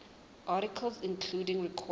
articles including recorded